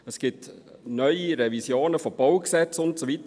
Es gibt neue Revisionen von Baugesetzen und so weiter.